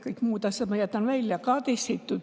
Kõik muud asjad ma jätan välja.